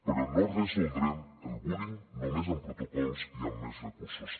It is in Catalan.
però no resoldrem el bullying només amb protocols i amb més recursos